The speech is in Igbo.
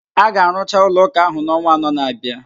A ga arụcha ụlọ ụka ahụ n'ọnwa anọ na-abịa